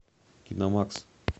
киномакс